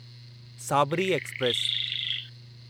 Sabri express